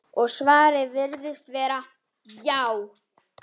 Og svarið virðist vera: já.